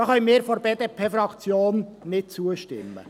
Da können wir von der BDPFraktion nicht zustimmen.